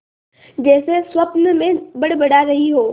जैसे स्वप्न में बड़बड़ा रही हो